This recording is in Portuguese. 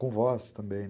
Com voz também.